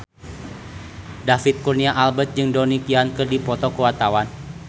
David Kurnia Albert jeung Donnie Yan keur dipoto ku wartawan